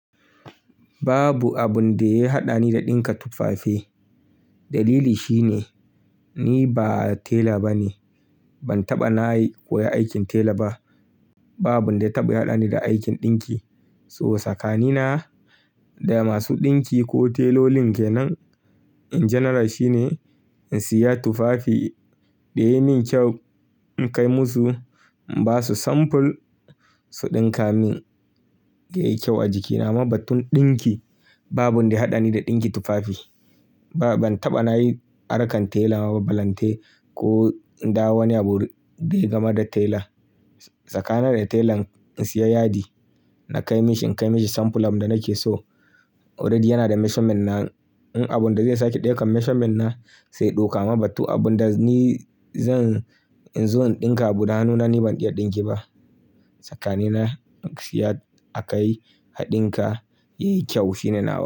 Babu abin da ya haɗani da ɗinka tufafe. Dalili shine ni ba tela ba ne. Ban taɓa na yi koyon aikin tela ba. Babu abinda ya taɓa haɗani da aikin ɗinki. So tsakanina da masu ɗinki ko telolin ke nan in general shine in siya tufafi da yayi min kyau, in kai musu, in ba su sample su ɗinka min da yayi kyau a jikina. Amma batun ɗinki babu wanda ya haɗani da ɗinki tufafi. Ba, ban taɓa na yi aron akan tela mabbalante ko in da wani abu da ya gama da tela. Tsakanina da telan in siya yadi na kai mishi, in kai mishi sample abin da nake so. Already yana da measurement na. In abun da zai sake ɗaukan measurement na, sai ɗoka mabattu abun da ni zan, in zo in ɗinka abu nanu na ni ban iya ɗinki ba. Tsakani na in siya a kai a ɗinka yayi kyau shine nau'ina.